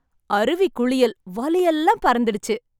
அருவி குளியல். வலி எல்லாம் பறந்துடுச்சு!